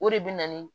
O de bɛ na ni